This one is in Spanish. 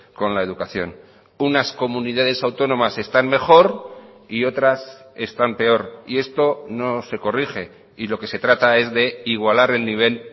con la educación unas comunidades autónomas están mejor y otras están peor y esto no se corrige y lo que se trata es de igualar el nivel